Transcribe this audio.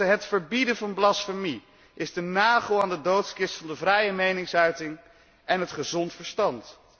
Het verbieden van blasfemie is de nagel aan de doodskist van de vrije meningsuiting en het gezond verstand.